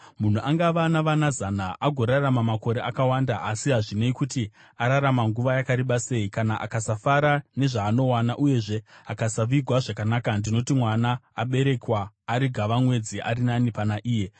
Munhu angava navana zana agorarama makore akawanda, asi hazvinei kuti ararama nguva yakareba sei, kana akasafara nezvaanowana uyezve akasavigwa zvakanaka, ndinoti mwana aberekwa ari gavamwedzi ari nani pana iye.